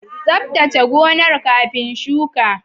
Tsaftace gonar kafin shuka.